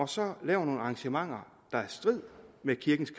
så laver nogle arrangementer der er i strid med kirkens